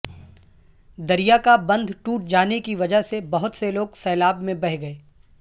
دریا کا بندھ ٹوٹ جانے کی وجہ سے بہت سے لوگ سیلاب میں بہہ گئے